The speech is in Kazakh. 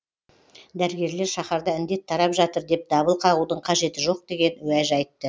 дәрігерлер шаһарда індет тарап жатыр деп дабыл қағудың қажеті жоқ деген уәж айтты